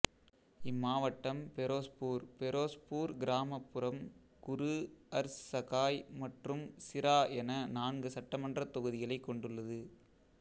இம்மாவட்டம் பெரோஸ்பூர் பெரோஸ்பூர் கிராமப்புறம் குரு ஹர் சகாய் மற்றும் சிரா என நான்கு சட்டமன்றத் தொகுதிகளைக் கொண்டுள்ளது